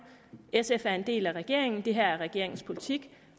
sf er en del af regeringen det her er regeringens politik